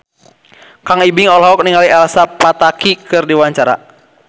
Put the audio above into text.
Kang Ibing olohok ningali Elsa Pataky keur diwawancara